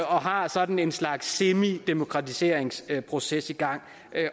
og har sådan en slags semidemokratiseringsproces i gang